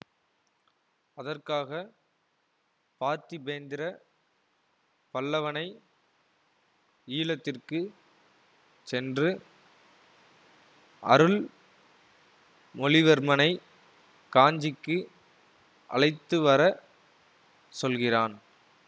அதற்காக பார்த்திபேந்திர பல்லவனை ஈழத்திற்கு சென்று அருள் மொழிவர்மனைக் காஞ்சிக்கு அழைத்துவர சொல்கிறான்